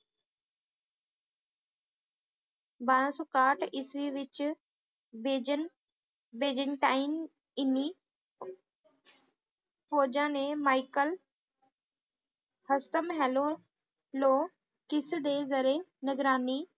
ਬਾਰਾਂ ਸੌ ਇਕਾਹਠ ਇਸਵੀਂ ਵਿੱਚ ਬੇਇਜ਼ਨ`ਬੇਇਜ਼ਨਟਾਈਨ ਇੰਨੀ ਫੌਜਾਂ ਨੇ ਮਾਇਕਲ ਹਸਤਮ ਹੇਲੋਲੋ ਕਿਸ ਦੇ ਜਰੇ ਨਿਗਰਾਨੀ